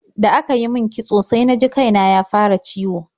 Da aka yi min kitso sai na ji kai na ya fara ciwo.